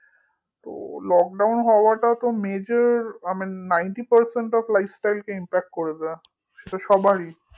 ও lockdown হওয়াটা তো majorninetypercentlife টাকে impact করে দেয় সেটা সবারই